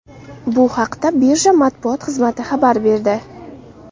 Bu haqda Birja matbuot xizmati xabar berdi .